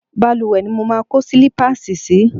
Balùwẹ̀ ni mo máa kó sílípáàsì sì í.